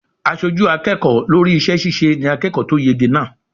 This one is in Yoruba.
Aṣojú akẹ́kọ̀ọ́ lórí iṣẹ́ ṣíṣe ni akẹ́kọ̀ọ́ tó yege náà.